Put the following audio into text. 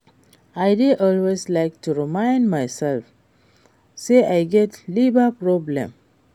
I dey always like to remind myself say I get liver problem